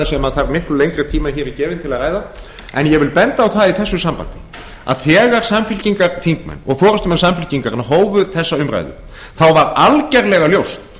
sem þarf miklu lengri tíma en hér er gefinn til að ræða en ég vil benda á það í þessu sambandi að þegar samfylkingarþingmenn og forustumenn samfylkingarinnar hófu þessa umræðu þá var algjörlega ljóst